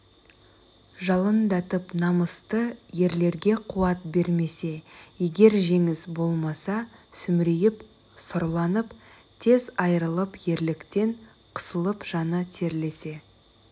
жалындатып намысты ерлерге қуат бермесе егер жеңіс болмаса сүмірейіп сұрланып тез айрылып ерліктен қысылып жаны терлесе